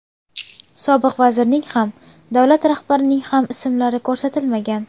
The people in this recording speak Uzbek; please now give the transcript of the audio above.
Sobiq vazirning ham, Davlat rahbarining ham ismlari ko‘rsatilmagan.